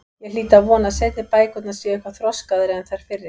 Ég hlýt að vona að seinni bækurnar séu eitthvað þroskaðri en þær fyrri.